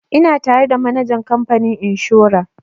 Ina tare da manajan kamfanin inshora